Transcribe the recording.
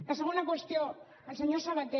la segona qüestió al senyor sabaté